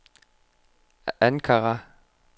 Ankara